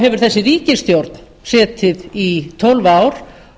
hefur þessi ríkisstjórn setið í tólf ár